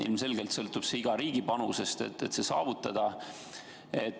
Ilmselgelt sõltub selle saavutamine iga riigi panusest.